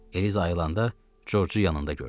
Eliza ayılında Corcu yanında gördü.